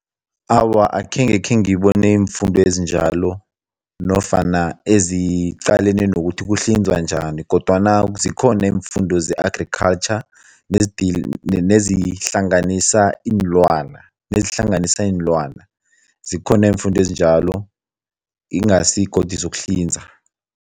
Awa, akhenge khengibone iimfundo ezinjalo nofana eziqalene nokuthi kuhlinzwa njani kodwana zikhona iimfundo ze-agriculture nezihlanganisa iinlwana nezihlanganisa iinlwana, zikhona iimfundo ezinjalo, ingasi godu zokuhlinza.